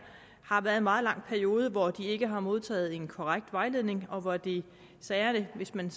har været en meget lang periode hvor de ikke har modtaget en korrekt vejledning og hvor de særlig hvis man